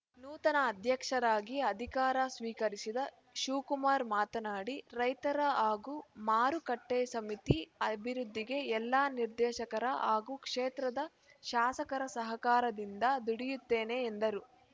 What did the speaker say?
ನೂತನ ಅಧ್ಯಕ್ಷರಾಗಿ ಅಧಿಕಾರ ಸ್ವೀಕರಿಸಿದ ಶಿವಕುಮಾರ್‌ ಮಾತನಾಡಿ ರೈತರ ಹಾಗೂ ಮಾರುಕಟ್ಟೆಸಮಿತಿ ಅಭಿವೃದ್ಧಿಗೆ ಎಲ್ಲ ನಿರ್ದೇಶಕರ ಹಾಗೂ ಕ್ಷೇತ್ರದ ಶಾಸಕರ ಸಹಕಾರದಿಂದ ದುಡಿಯುತ್ತೇನೆ ಎಂದರು